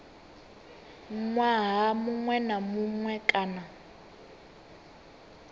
ṅwaha muṅwe na muṅwe kana